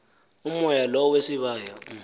umoya lo wesibaya